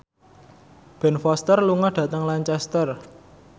Ben Foster lunga dhateng Lancaster